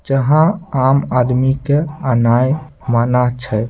जहां आम आदमी के आनाय मना छै।